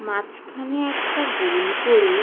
মাঝখানে একটা গোল করে।